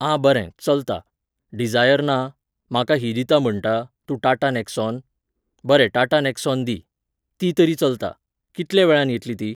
आं बरें, चलता. डिझायर ना? म्हाका ही दिता म्हणटा, तूं टाटा नेक्सॉन? बरें टाटा नेक्सॉन दी. ती तरी चलता. कितल्या वेळान येतली ती?